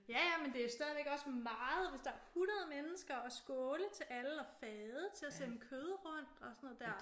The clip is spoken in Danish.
Ja ja men det er jo stadig også meget hvis der er 100 mennesker og skåle til alle og fade til at sende kød rundt og sådan noget der